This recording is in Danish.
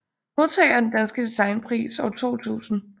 Modtager af Den danske Designpris 2000